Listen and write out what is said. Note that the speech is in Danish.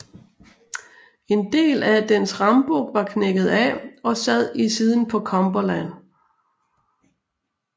En del af dens rambuk var knækket af og sad i siden på Cumberland